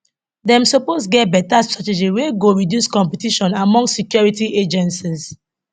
dem suppose get beta strategy wey go reduce competition among security agencies